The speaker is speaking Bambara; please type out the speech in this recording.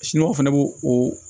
fɛnɛ b'o o